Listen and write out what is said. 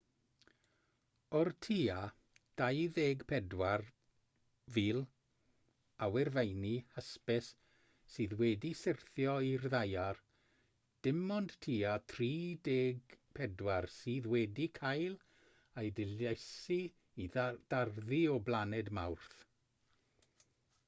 o'r tua 24,000 o awyrfeini hysbys sydd wedi syrthio i'r ddaear dim ond tua 34 sydd wedi cael eu dilysu i darddu o blaned mawrth